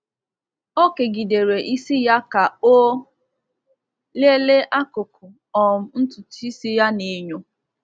Ọ kegidere isi ya ka o lelee akụkụ um ntutu isi ya n’enyo.